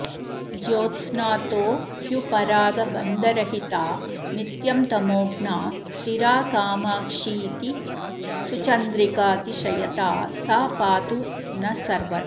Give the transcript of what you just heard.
ज्योत्स्नातो ह्युपरागबन्धरहिता नित्यं तमोघ्ना स्थिरा कामाक्षीति सुचन्द्रिकातिशयता सा पातु नः सर्वदा